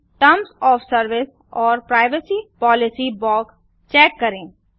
terms of service और privacy policy box check करें